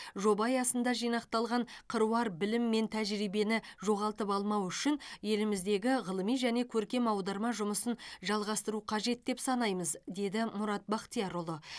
жоба аясында жинақталған қыруар білім мен тәжірибені жоғалтып алмау үшін еліміздегі ғылыми және көркем аударма жұмысын жалғастыру қажет деп санаймыз деді мұрат бақтиярұлы